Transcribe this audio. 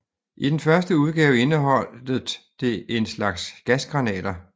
I den første udgave indeholdet det en slags gasgranater